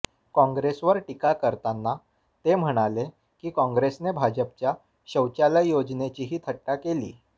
कॉंग्रेसवर टीका करताना ते म्हणाले की कॉंग्रेसने भाजपच्या शौचालय योजनेचीही थट्टा केली